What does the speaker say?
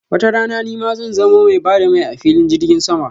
watarana nima zan zamo mai ba da mai a filin jirgin sama.